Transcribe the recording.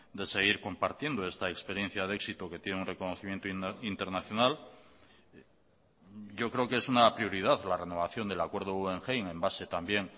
de seguir compartiendo esta experiencia de éxito que tiene un reconocimiento internacional yo creo que es una prioridad la renovación del acuerdo guggenheim en base también